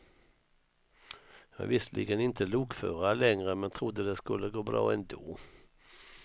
Jag är visserligen inte lokförare längre, men trodde det skulle gå bra ändå.